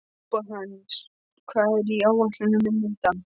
Sophanías, hvað er á áætluninni minni í dag?